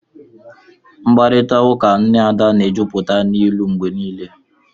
Mkparịta ụka nne Ada na-ejupụta n'ilu mgbe niile